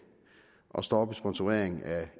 og stoppe sponsorering af